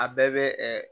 A bɛɛ bɛ